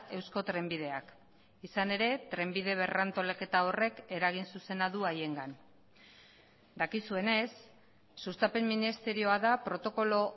eusko trenbideak izan ere trenbide berrantolaketa horrek eragin zuzena du haiengan dakizuenez sustapen ministerioa da protokolo